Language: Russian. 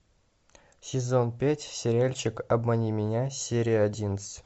сезон пять сериальчик обмани меня серия одиннадцать